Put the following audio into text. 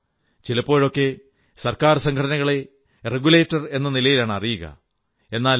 ചിലപ്പോഴൊക്കെ സർക്കാർ സംഘടനകളെ റെഗുലേറ്റർ എന്ന നിലയിലാണ് അറിയുക എന്നാൽ f